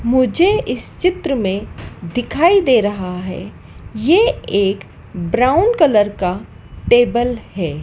मुझे इस चित्र में दिखाई दे रहा है ये एक ब्राउन कलर का टेबल है।